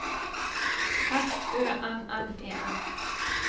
S Ø N N E N